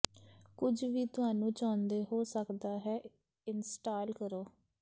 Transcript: ਕੁਝ ਵੀ ਤੁਹਾਨੂੰ ਚਾਹੁੰਦੇ ਹੋ ਸਕਦਾ ਹੈ ਇੰਸਟਾਲ ਕਰੋ